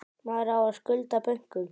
Maður á að skulda bönkum.